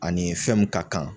Ani fɛn mun ka kan